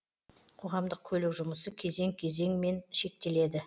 қоғамдық көлік жұмысы кезең кезеңмен шектеледі